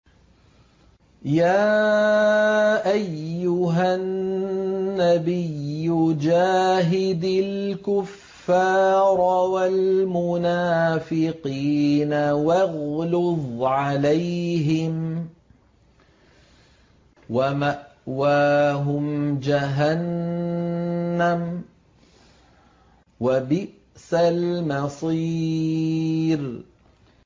يَا أَيُّهَا النَّبِيُّ جَاهِدِ الْكُفَّارَ وَالْمُنَافِقِينَ وَاغْلُظْ عَلَيْهِمْ ۚ وَمَأْوَاهُمْ جَهَنَّمُ ۖ وَبِئْسَ الْمَصِيرُ